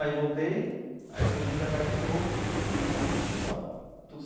Aí voltei, aí depois vim para cá de novo para fazer vestibular.